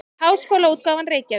Háskólaútgáfan Reykjavík.